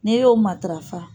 N'i y'o matarafa